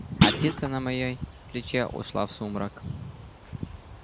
а птица на моей плече ушла в сумрак